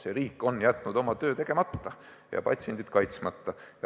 Seega, riik on jätnud oma töö tegemata ja patsiendid kaitsmata.